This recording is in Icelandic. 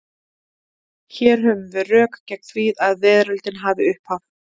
Hér höfum við rök gegn því að veröldin hafi upphaf.